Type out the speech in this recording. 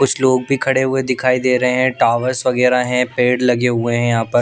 कुछ लोग भी खड़े हुए दिखाई दे रहे हैं टॉवर्स वगैरा हैं पेड़ लगे हुए हैं यहां पर--